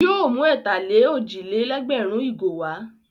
Yóò mú ẹ̀tà-lé-òjì-lé-lẹ́gbẹ̀rún ìgò wá.